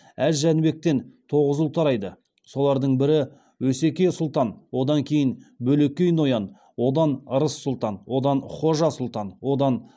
әз жәнібектен тоғыз ұл тарайды солардың бірі өсеке сұлтан одан кейін бөлекей ноян одан ырыс сұлтан одан хожа сұлтан